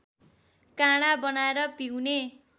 काँडा बनाएर पिउने